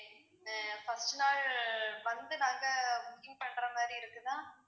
ஆஹ் first நாள் வந்து நாங்க booking பண்ற மாதிரி இருக்குதா?